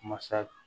Masa